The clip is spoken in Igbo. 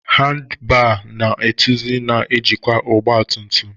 Handibar na etuzi na njikwa ọgba tum tum.